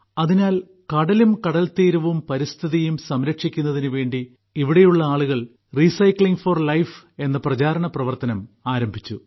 അതിനാൽ കടലും കടൽത്തീരവും പരിസ്ഥിതിയും സംരക്ഷിക്കുന്നതിനു വേണ്ടി ഇവിടെയുള്ള ആളുകൾ റീസൈക്ലിങ് ഫോർ ലൈഫ് പ്രചാരണ പ്രവർത്തനം ആരംഭിച്ചു